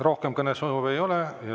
Rohkem kõnesoove ei ole.